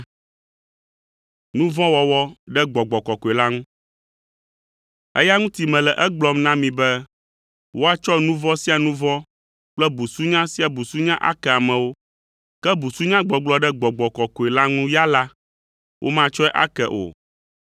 “Eya ŋuti mele egblɔm na mi be woatsɔ nu vɔ̃ sia nu vɔ̃ kple busunya sia busunya ake amewo, ke busunyagbɔgblɔ ɖe Gbɔgbɔ Kɔkɔe la ŋu ya la, womatsɔe ake o.